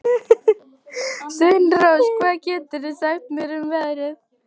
Sveinrós, hvað geturðu sagt mér um veðrið?